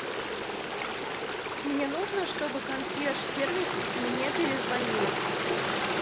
мне нужно чтобы консьерж сервис мне перезвонил